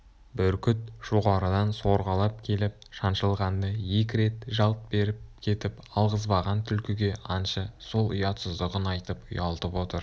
бүркіт жоғарыдан сорғалап келіп шаншылғанда екі рет жалт беріп кетіп алғызбаған түлкіге аңшы сол ұятсыздығын айтып ұялтып отыр